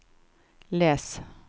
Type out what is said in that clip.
les